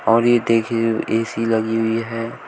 और ये देखिए ऐ_सी लगी हुई है।